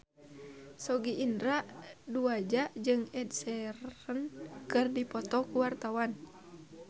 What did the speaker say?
Sogi Indra Duaja jeung Ed Sheeran keur dipoto ku wartawan